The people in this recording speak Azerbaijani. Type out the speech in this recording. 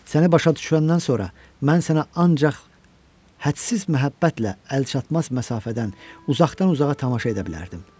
Səni başa düşəndən sonra mən sənə ancaq hədsiz məhəbbətlə əlçatmaz məsafədən, uzaqdan-uzağa tamaşa edə bilərdim.